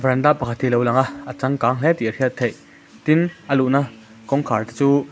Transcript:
varanda pakhat hi lo lang a a changkang hle tih a hriat theih tin a luhna kawngkhar te chu--